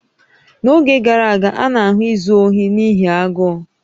N'oge gara aga, a na-ahụ izu ohi n'ihi agụụ